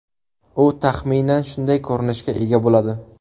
U taxminan shunday ko‘rinishga ega bo‘ladi.